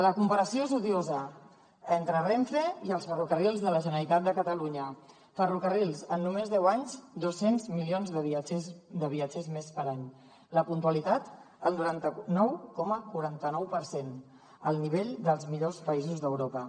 la comparació és odiosa entre renfe i els ferrocarrils de la generalitat de catalunya ferrocarrils en només deu anys dos cents milions de viatgers més per any la puntualitat el noranta nou coma quaranta nou per cent al nivell dels millors països d’europa